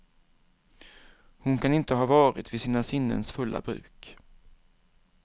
Hon kan inte ha varit vid sina sinnens fulla bruk.